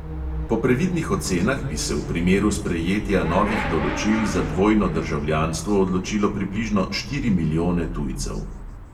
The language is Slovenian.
Po previdnih ocenah bi se v primeru sprejetja novih določil za dvojno državljanstvo odločilo približno štiri milijone tujcev.